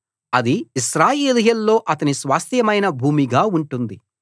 అది ఇశ్రాయేలీయుల్లో అతని స్వాస్త్యమైన భూమిగా ఉంటుంది